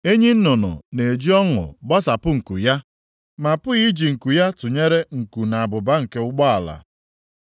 “Enyi nnụnụ na-eji ọṅụ gbasapụ nku ya, ma a pụghị iji nku ya tụnyere nku na abụba nke ụgbala.